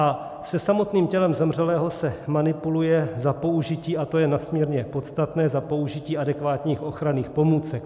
A se samotným tělem zemřelého se manipuluje za použití, a to je nesmírně podstatné, za použití adekvátních ochranných pomůcek.